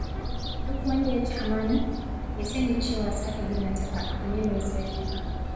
Duk wanda yaci amana, ya sani cewa sake gina ta ba abu ne mai sauƙi ba.